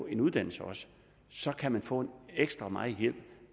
en uddannelse og så kan man få ekstra meget hjælp